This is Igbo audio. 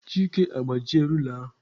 Chike agbajie rula ahu.